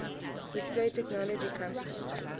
display technology companies